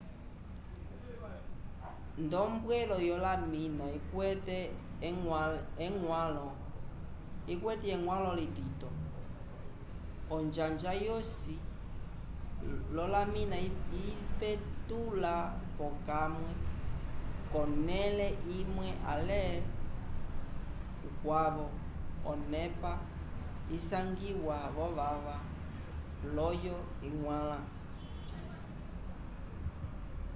nd'ombwelo yolamina ikwete eñgwãlo litito onjanja yosi olamina ipetula p'okamwe k'onẽle imwe ale kukwavo onepa isangiwa v'ovava layovo iñgwãla